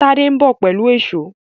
Tade nbọ pẹlú Èṣó